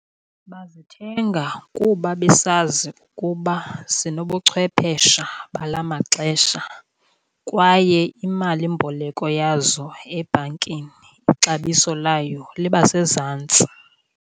Bazithenga kuba besazi ukuba zinobuchwephesha bala maxesha, kwaye imalimboleko yazo ebhankini ixabiso layo liba sezantsi.